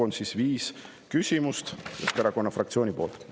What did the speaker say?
Kokku on viis küsimust Keskerakonna fraktsiooni poolt.